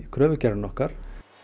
kröfugerðina okkar